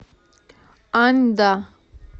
аньда